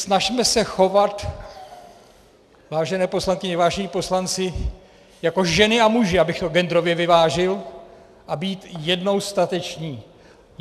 Snažme se chovat, vážené poslankyně, vážení poslanci, jako ženy a muži, abych to genderově vyvážil, a být jednou stateční.